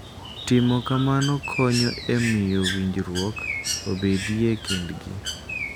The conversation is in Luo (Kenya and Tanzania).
Timo kamano konyo e miyo winjruok obedie e kindgi.